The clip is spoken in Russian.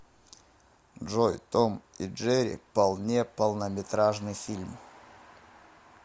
джой том и джери полне полнометражный фильм